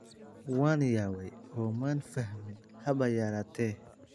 Waan yaabay oo maan fahmin haba yaraatee''.